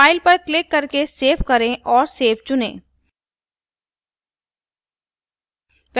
file पर click करके save करें और save चुनें